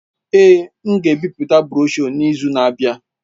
Èé, m ga-ebipụta broshuọ n'izu na-abịa.